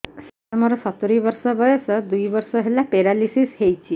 ସାର ମୋର ସତୂରୀ ବର୍ଷ ବୟସ ଦୁଇ ବର୍ଷ ହେଲା ପେରାଲିଶିଶ ହେଇଚି